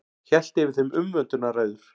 Hélt yfir þeim umvöndunarræður.